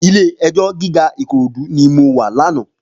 Ilé èjò gigá Ikorodu ni mó wà làná